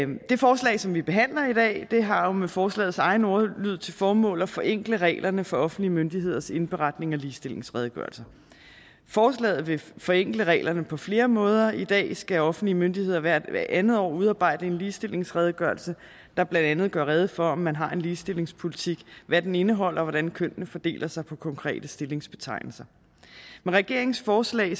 det forslag som vi behandler i dag har jo med forslagets egen ordlyd til formål at forenkle reglerne for offentlige myndigheders indberetning af ligestillingsredegørelser forslaget vil forenkle reglerne på flere måder i dag skal offentlige myndigheder hvert andet år udarbejde en ligestillingsredegørelse der blandt andet gør rede for om man har en ligestillingspolitik hvad den indeholder og hvordan kønnene fordeler sig på konkrete stillingsbetegnelser med regeringens forslag